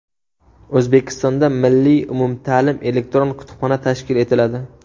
O‘zbekistonda Milliy umumta’lim elektron kutubxona tashkil etiladi.